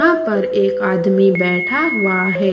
वहां पर एक आदमी बैठा हुआ है।